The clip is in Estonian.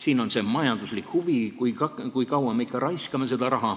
Siin on majanduslik huvi, sest kui kaua me ikka raha raiskame.